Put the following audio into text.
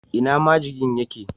Ina majigin ye ke?